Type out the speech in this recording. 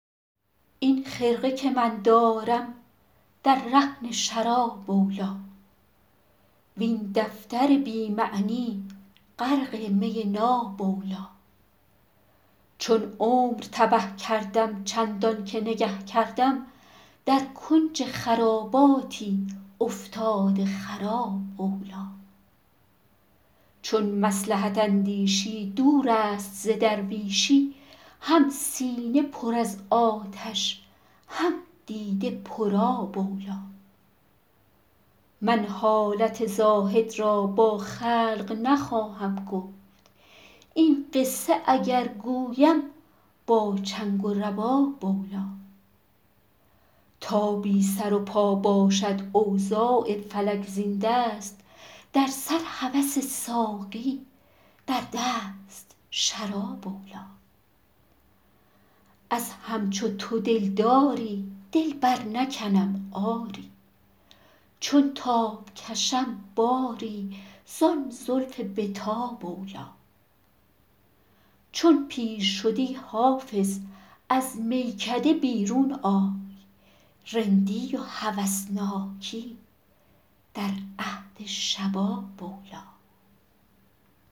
این خرقه که من دارم در رهن شراب اولی وین دفتر بی معنی غرق می ناب اولی چون عمر تبه کردم چندان که نگه کردم در کنج خراباتی افتاده خراب اولی چون مصلحت اندیشی دور است ز درویشی هم سینه پر از آتش هم دیده پرآب اولی من حالت زاهد را با خلق نخواهم گفت این قصه اگر گویم با چنگ و رباب اولی تا بی سر و پا باشد اوضاع فلک زین دست در سر هوس ساقی در دست شراب اولی از همچو تو دلداری دل برنکنم آری چون تاب کشم باری زان زلف به تاب اولی چون پیر شدی حافظ از میکده بیرون آی رندی و هوسناکی در عهد شباب اولی